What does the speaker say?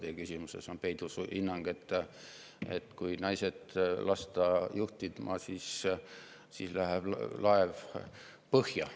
Teie küsimuses oli peidus hinnang, et kui naised lasta juhtima, siis laev läheb põhja.